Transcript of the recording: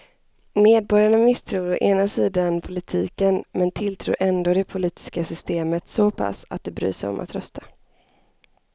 Medborgarna misstror å ena sidan politiken men tilltror ändå det politiska systemet så pass att de bryr sig om att rösta.